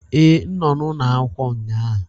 Ee, m nọ n'ụlọ akwụkwọ ụnyaahụ